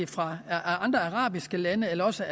fra andre arabiske lande eller også